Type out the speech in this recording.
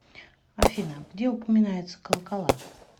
афина где упоминается колокола